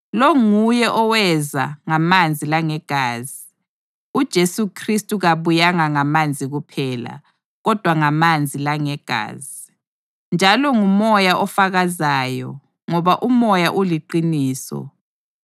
Lo nguye oweza ngamanzi langegazi, uJesu Khristu kabuyanga ngamanzi kuphela, kodwa ngamanzi langegazi. Njalo nguMoya ofakazayo, ngoba uMoya uliqiniso.